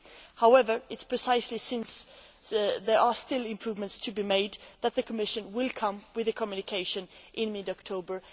However, it is precisely because there are still improvements to be made that the Commission will come with a communication in mid October.